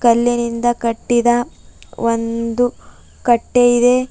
ಕಲ್ಲಿನಿಂದ ಕಟ್ಟಿದ ಒಂದು ಕಟ್ಟೆ ಇದೆ.